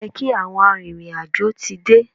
Ó yẹ kí àwọn arìnrìn-àjò ti dé.